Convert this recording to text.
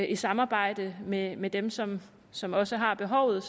i samarbejde med med dem som som også har behovet